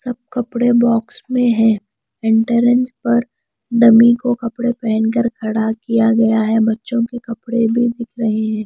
सब कपड़े बॉक्स में है एंट्रेंस पर डमी को कपड़े पहन कर खड़ा किया गया है बच्चों के कपड़े भी दिख रहे हैं।